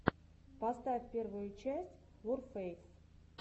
поставь первую часть ворфэйс